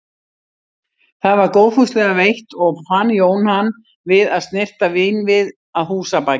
Það var góðfúslega veitt og fann Jón hann við að snyrta vínvið að húsabaki.